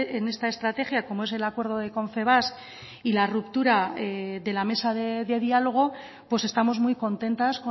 en esta estrategia como es el acuerdo de confebask y la ruptura de la mesa de diálogo pues estamos muy contentas